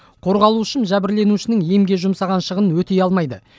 қорғалушым жәбірленушінің емге жұмсаған шығынын өтей алмайды